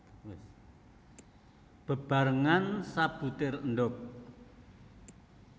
Bebarengan sabutir endhog